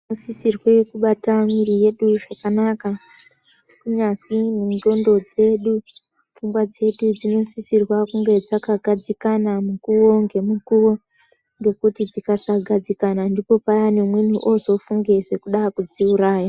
Tinosisirwe kubata mwiri yedu zvakanaka kunyazwi nendxondo dzedu, pfungwa dzedu dzinosisirwa kunga dzakagadzikana mukuwo ngemukuwo ngekuti dzikasagadzikana ndipo payani umweni ozofunge zvekuda kudziuraya.